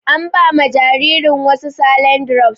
An ba ma jaririn wasu saline drops.